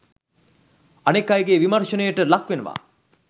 අනෙක් අයගේ විමර්ශනයට ලක්වෙනවා.